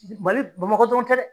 Mali Bamakɔ dɔrɔn tɛ dɛ.